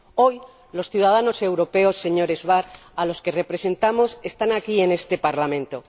Hoy, los ciudadanos europeos, señor Schwab, a los que representamos, están aquí en este Parlamento.